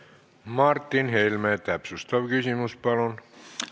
Martin Helme, täpsustav küsimus, palun!